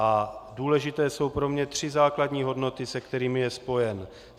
A důležité jsou pro mě tři základní hodnoty, se kterými je spojen.